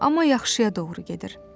Amma yaxşıya doğru gedir.